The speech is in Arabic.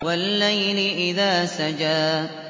وَاللَّيْلِ إِذَا سَجَىٰ